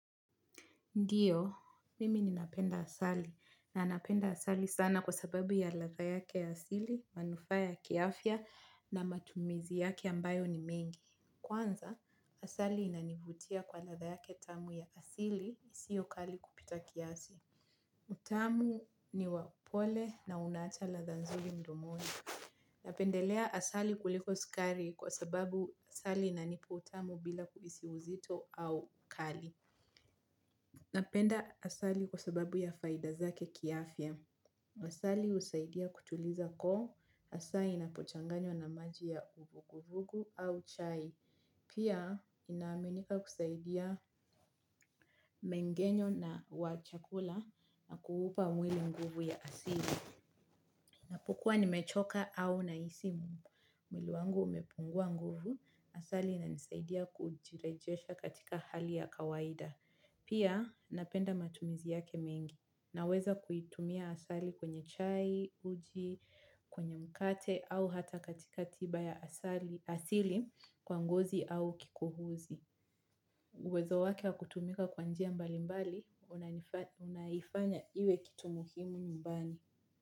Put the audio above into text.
Ndiyo, mimi ninapenda asali na napenda asali sana kwa sababu ya ladha yake ya asili, manufaa ya kiafya na matumizi yake ambayo ni mengi. Kwanza, asali inanivutia kwa ladha yake tamu ya asili, isio kali kupita kiasi. Ni tamu, ni wapole na unaacha ladha nzuri mdomoni. Napendelea asali kuliko sukari kwa sababu asali inanipa utamu bila kuhisi uzito au ukali. Napenda asali kwa sababu ya faida zake kiafya. Asali husaidia kutuliza koo, hasa inapochanganywa na maji ya uvugu vugu au chai. Pia inaaminika kusaidia mengenyo na wa chakula na kuupa mwili nguvu ya asili. Napokua nimechoka au na isimu. Mwili wangu umepungua nguvu. Asali inanisaidia kujirejesha katika hali ya kawaida. Pia napenda matumizi yake mengi na weza kuitumia asali kwenye chai, uji, kwenye mkate au hata katika tiba ya asili kwa ngozi au kikohozi. Uwezo wake wa kutumika kwa njia mbali mbali, unaifanya iwe kitu muhimu nyumbani.